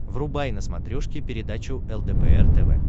врубай на смотрешке передачу лдпр тв